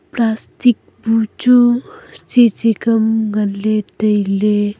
plastic bu chu tse tse ka ngan ley tai ley.